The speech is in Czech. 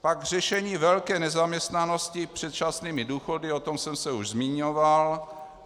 Pak řešení velké nezaměstnanosti předčasnými důchody, o tom jsem se už zmiňoval.